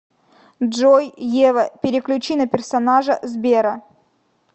джой ева переключи на персонажа сбера